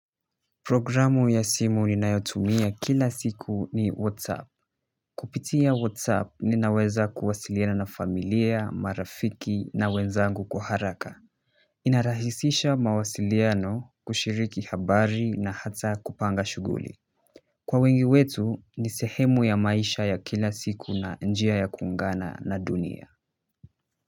Programu ya simu ninayotumia kila siku ni WhatsApp. Kupitia WhatsApp ninaweza kuwasiliana na familia, marafiki na wenzangu kwa haraka. Inarahisisha mawasiliano kushiriki habari na hata kupanga shughuli. Kwa wengi wetu ni sehemu ya maisha ya kila siku na njia ya kuungana na dunia.